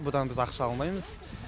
бұдан біз ақша алмаймыз